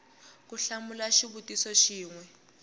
ku hlamula xivutiso xin we